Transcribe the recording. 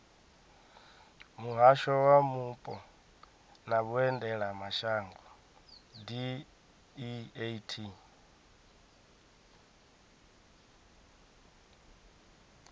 muhasho wa mupo na vhuendelamashango deat